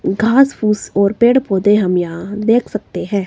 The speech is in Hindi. घास फूस और पेड़ पौधे हम यहां देख सकते है।